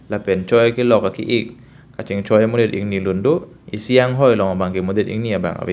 lapen choi akelok aki ik ka chingchoi amonit ingni lun do isi anghoi long abang ke monit ingni abang ave.